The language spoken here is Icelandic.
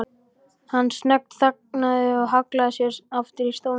Hann snöggþagnaði og hallaði sér aftur í stólnum.